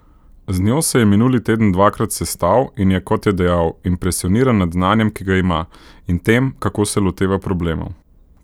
Z njo se je minuli teden dvakrat sestal in je, kot je dejal, impresioniran nad znanjem, ki ga ima, in tem, kako se loteva problemov.